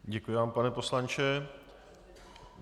Děkuji vám, pane poslanče.